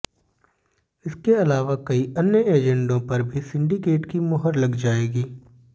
इसके अलावा कई अन्य एजेंडों पर भी सिंडिकेट की मुहर लग जाएगी